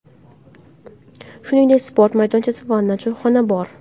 Shuningdek, sport maydonchasi, vanna, choyxona ham bor.